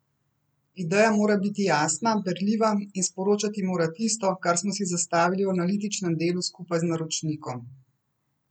Ideja mora biti jasna, berljiva in sporočati mora tisto, kar smo si zastavili v analitičnem delu skupaj z naročnikom.